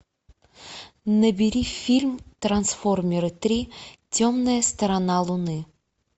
набери фильм трансформеры три темная сторона луны